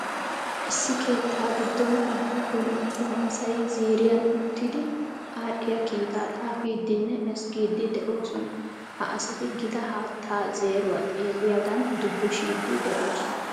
Issi keetta giidon udduufun attumma asayi ziiriyaan uttiidi adhdhiyaa kiitaa xaafidinne ezzigiidi de'oosona. Ha asati giita haatta zeeruwa xeeliyaagan duubushidi de'oosona.